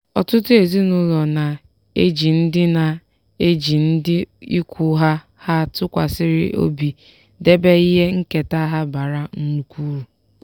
ọtụtụ ezinụlọ na-eji ndị na-eji ndị ikwu ha ha tụkwasịrị obi debe ihe nketa ha bara nnukwu uru.